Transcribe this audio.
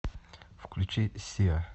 включи сиа